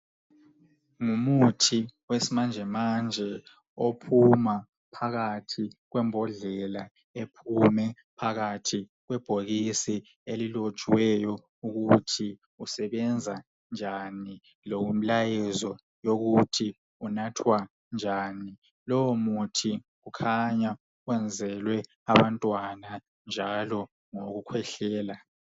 Ngumuthi wesimanje manje ophuma phakathi kwembodlela ephume phakathi kwebhokisi elilotshiweyo ukuthi usebenza njalo lomlayezo yokuthi unathwa njani, lowo muthi ukhanya wenzelwe abantwana njalo ngowokukhwehlela.